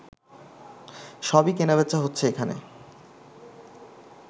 সবই কেনাবেচা হচ্ছে এখানে